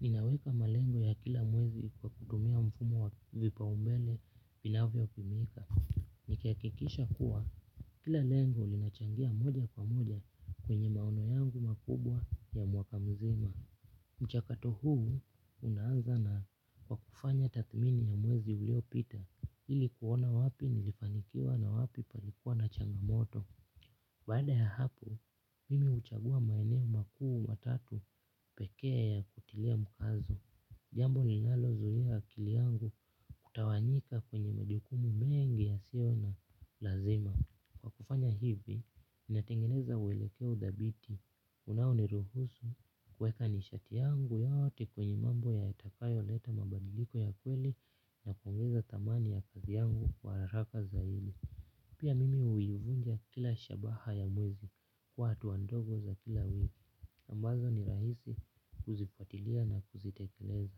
Ninaweka malengo ya kila mwezi kwa kutumia mfumo wa vipaumbele vinavyo tumika. Nikihakikisha kuwa, kila lengo linachangia moja kwa moja kwenye maono yangu makubwa ya mwaka mzima. Mchakato huu, unaanza na kwa kufanya tathmini ya mwezi ulio pita, ili kuona wapi nilifanikiwa na wapi palikuwa na changamoto. Baada ya hapo, mimi huchagua maeneo makuu matatu pekee ya kutilia mkazo. Jambo ninalo zuia akili yangu kutawanyika kwenye majukumu mengi yasio na lazima. Kwa kufanya hivi, ninatengeneza uwelekeo dhabiti. Unao niruhusu kuweka nishati yangu yote kwenye mambo yatakayo leta mabadiliko ya kweli na kuongeza thamani ya kazi yangu kwa haraka zaidi. Pia mimi huivunja kila shabaha ya mwezi kwa hatua ndogo za kila wiki ambazo ni rahisi kuzifuatilia na kuzitekeleza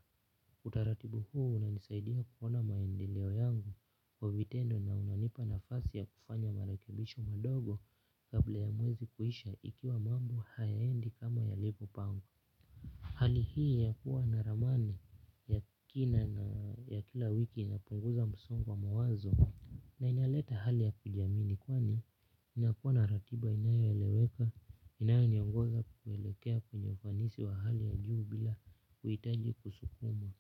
utaratibu huu unanisaidia kuona maendeleo yangu kwa vitendo na unanipa nafasi ya kufanya marekebisho madogo kabla ya mwezi kuisha ikiwa mambo hayaendi kama yalivyopangwa. Hali hii ya kuwa na ramani ya kina na kila wiki inapunguza msongo wa mawazo na inaleta hali ya kujiamini kwani inakuwa na ratiba inayoeleweka inayoniongoza kuelekea kwenye ufanisi wa hali ya juu bila kuhitaji kusukumwa.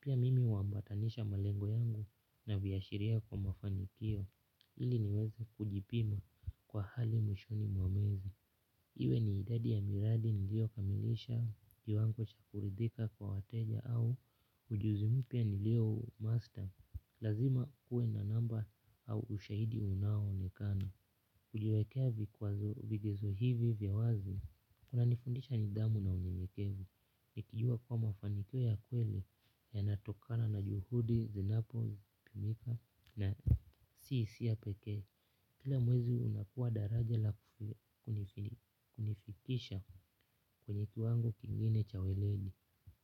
Pia mimi huambatanisha malengo yangu na viashiria kwa mafanikio ili niweze kujipima kwa hali mwishoni mwa mwezi. Iwe ni idadi ya miradi nilio kamilisha kiwango cha kuridhika kwa wateja au ujuzi mpya nilio master. Lazima kuwe na namba au ushahidi unao onekana. Kujiwekea vikwazo vigezo hivi vya wazi. Kuna nifundisha nidhamu na unyenyekevu. Nikijua kuwa mafanikio ya kweli yanatokana na juhudi zinapotukumika na si hisia pekee. Kila mwezi unakuwa daraja la kunifikisha kwenye kiwango kingine cha weledi.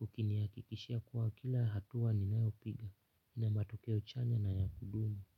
Ukinihakikishia kuwa kila hatua ninayopiga ina matokeo chanya na ya kudumu.